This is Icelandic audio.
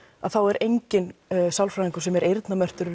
er enginn sálfræðingur sem er eyrnamerktur